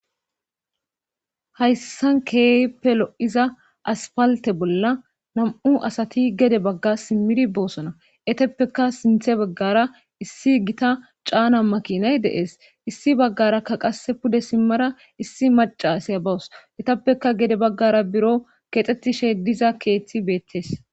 Hayssan keeppelo'iza aspalte bolla nam7u asati gede bagga simmiri boosona eteppeka sinthe baggara issi gita caana makinay deees issi baggarakka qas pude simmara issi maca siya bawus etappeka gede baggara biro kexxettishe diza keeththi beettes.